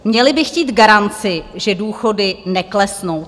Měli by chtít garanci, že důchody neklesnou.